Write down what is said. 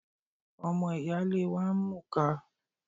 Ọmọ ìyáálé wa ń mùka